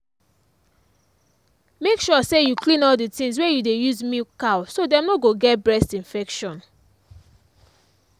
make sure say you clean all the things wey you dey use milk cow so dem no go get breast infection